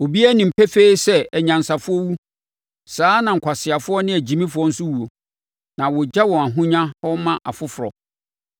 Obiara nim pefee sɛ anyansafoɔ wu; saa ara na nkwaseafoɔ ne agyimifoɔ nso wuo na wɔgya wɔn ahonya hɔ ma afoforɔ.